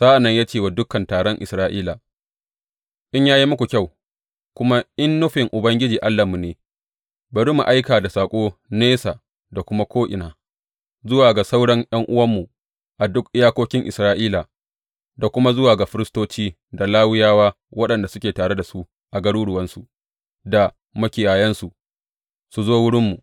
Sa’an nan ya ce wa dukan taron Isra’ila, In ya yi muku kyau kuma in nufin Ubangiji Allahnmu ne, bari mu aika da saƙo nesa da kuma ko’ina zuwa ga sauran ’yan’uwanmu a duk iyakokin Isra’ila, da kuma zuwa ga firistoci da Lawiyawa waɗanda suke tare da su a garuruwansu da makiyayansu, su zo wurinmu.